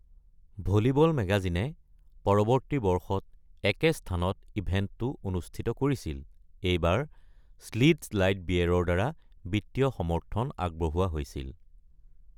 Volleyball মেগাজিন-এ পৰৱৰ্তী বছৰ একে স্থানত ইভেণ্টটো অনুষ্ঠিত কৰিছিল, এইবাৰ শ্লিটজ লাইট বিয়েৰৰ দ্বাৰা বিত্তীয় সমৰ্থন আগবঢ়োৱা হৈছিল।